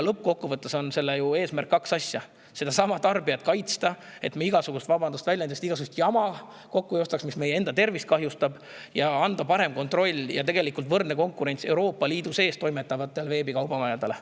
Lõppkokkuvõttes on sellel kaks eesmärki: tarbijat kaitsta, et me ei ostaks kokku – vabandust väljenduse eest – igasugust jama, mis meie enda tervist kahjustab, ning võrdne konkurents ja anda parem kontroll Euroopa Liidus toimetavatele veebikaubamajadele.